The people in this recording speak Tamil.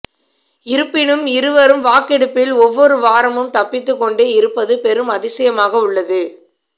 இருப்பினும் இருவரும் வாக்கெடுப்பில் ஒவ்வொரு வாரமும் தப்பித்துக் கொண்டே இருப்பது பெரும் அதிசயமாக உள்ளது